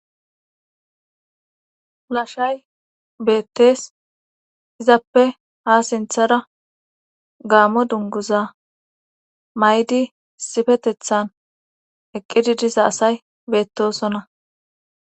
lashay beettes izappe ha sinthara gaamo dunguza may7di sifetethan eqqididisa asay beettosonna